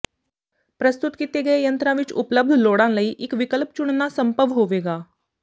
ਪ੍ਰਸਤੁਤ ਕੀਤੇ ਗਏ ਯੰਤਰਾਂ ਵਿਚ ਉਪਲਬਧ ਲੋੜਾਂ ਲਈ ਇਕ ਵਿਕਲਪ ਚੁਣਨਾ ਸੰਭਵ ਹੋਵੇਗਾ